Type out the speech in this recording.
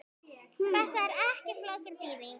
Þetta er ekki flókin þýðing.